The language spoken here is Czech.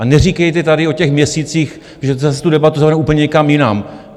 A neříkejte tady o těch měsících, že zase tu debatu zavedeme úplně někam jinam.